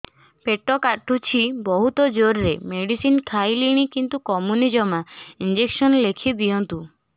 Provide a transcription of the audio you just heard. ପେଟ କାଟୁଛି ବହୁତ ଜୋରରେ ମେଡିସିନ ଖାଇଲିଣି କିନ୍ତୁ କମୁନି ଜମା ଇଂଜେକସନ ଲେଖିଦିଅନ୍ତୁ